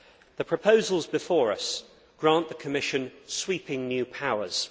The proposals before us grant the Commission sweeping new powers.